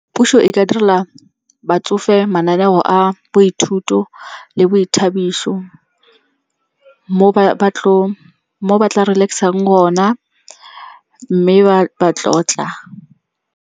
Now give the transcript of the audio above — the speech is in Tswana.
Puso e ka direla batsofe mananeo a boithuto le boithabiso mo ba tla relax-ang gona, mme ba tlotla.